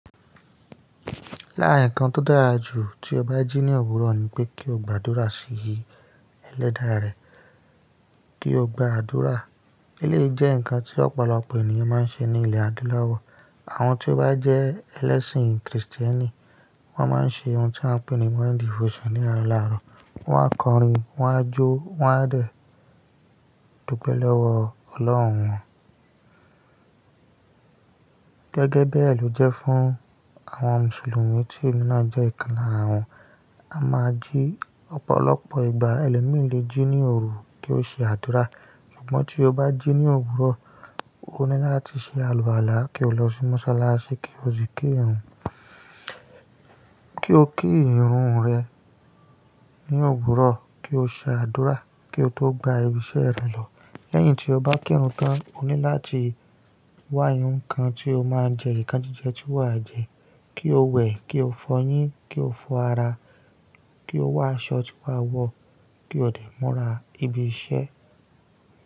Lára nǹkan tó dára jù tí o bá jí ní òwúrọ̀ ni pé kí o gba àdúrà sí Ẹlẹ́dàá rẹ, kí o gba àdúrà. Eléyìí jẹ́ nǹkan tí ọ̀pọ̀lọpọ̀ ènìyàn máa ń ṣe ní ilẹ̀ adúláwọ̀. Àwọn tí ó bá jẹ ẹlẹ́sìn kìrìsìtẹ́nì, wọ́n máa ń ṣe ohun tí a ń pè ní morning devotion ní àárọ̀ lárọ̀. Wọ́n á kọrin, wọ́n á jó, wọ́n á rẹ̀, dupẹ́ lọ́wọ́ Ọlọ́run wọn. Gẹ́gẹ́ bẹ́ẹ̀ ló jẹ́ fún àwọn mùsùlùmí tí emi náà jẹ́ ìkàn larà àwọn. A máa jí ọ̀pọ̀lọpọ̀ ìgbà. Ẹlomi lè jí ní òru kí ó ṣe àdúrà. Ṣùgbọ́n tí o bá jí ní òwúrọ̀, o ní láti ṣe àlùala kí o lọ sí mọ́sálásí kí o sì ki ìrun. Kí o ki ìrun rẹ ní òwúrọ̀ kí o ṣe àdúrà kí o tó gba ibi iṣẹ́ rẹ lọ. Lẹ́yìn tí o bá ki ìrun tán, o ní láti wá ohun kan tí o máa jẹ. Nkan jíjẹ tí wà á jẹ. Kí o wẹ̀, kí o fọyín, kí o fọ ara, kí o wá aṣọ tí wà á wọ̀ kí o dè mura ibi iṣẹ́.